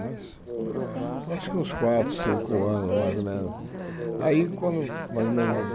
Mas acho que uns quatro, cinco anos, mais ou menos. Aí quando mais ou menos